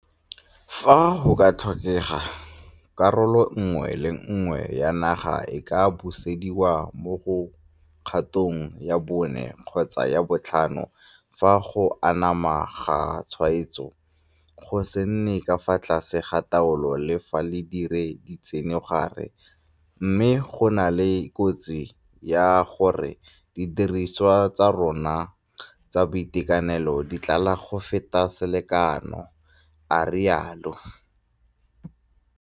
Fa go ka tlhokega, karolo nngwe le nngwe ya naga e ka busediwa mo kgatong ya bone kgotsa ya botlhano fa go anama ga tshwaetsego go sa nne ka fa tlase ga taolo le fa re dirile ditsenogare mme go na le kotsi ya gore didiriswa tsa rona tsa boitekanelo di tlala go feta selekano, a rialo.